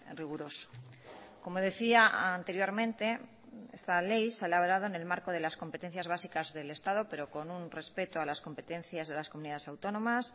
riguroso como decía anteriormente esta ley se ha elaborado en el marco de las competencias básicas del estado pero con un respeto a las competencias de las comunidades autónomas